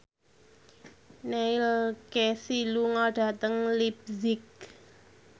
Neil Casey lunga dhateng leipzig